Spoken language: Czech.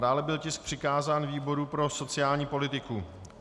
Dále byl tisk přikázán výboru pro sociální politiku.